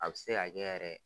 A be se ka kɛ yɛrɛ